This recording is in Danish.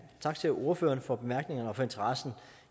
tak til ordførerne for bemærkningerne og for interessen